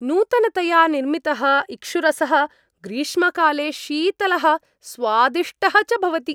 नूतनतया निर्मितः इक्षुरसः ग्रीष्मकाले शीतलः, स्वादिष्टः च भवति।